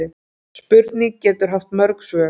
Spurning getur haft mörg svör.